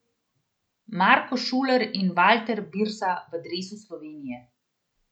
Marko Šuler in Valter Birsa v dresu Slovenije.